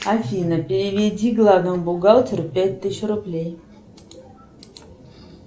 афина переведи главному бухгалтеру пять тысяч рублей